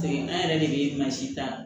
Paseke an yɛrɛ de bɛ mansin ta